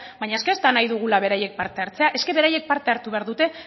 baina ez da nahi dugula beraiek parte hartzea beraiek parte hartu behar dute